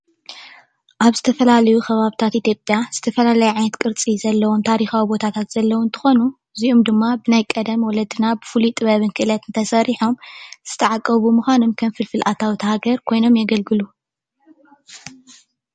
ኣብ ዝተፈላለዩ ከባብታት ኢትዮጲያ ዝተፈላለዩ ዓይነት ቅርፂ ዘለዎም ታሪካዊ ቦታታት ዘለዉ እንትኮኑ እዚኡም ድማ ብናይ ቀደም ወለድና ብፍሉይ ጥበብን ክእለትን ተሰርሖም ዝተዓቀቡ ብምኳኖም ከም ፍልፍል ኣታዊ እታ ሃገር ኮይኖም የገልግሉ ።